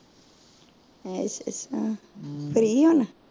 ਮੁਫ਼ਤ ਹੋ ਹੁਣ